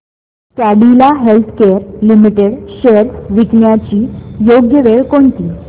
Cadila healthcare limited shares विकण्याची योग्य वेळ कोणती